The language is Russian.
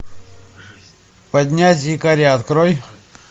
поднять якоря открой